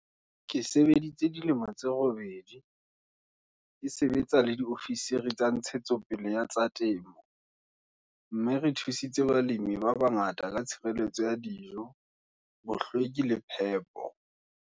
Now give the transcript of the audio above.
"Ke sebeditse dilemo tse robedi, ke sebetsa le diofisiri tsa ntshetsopele ya tsa temo, mme re thusitse balemi ba bangata ka tshireleto ya dijo, bohlweki le phepo.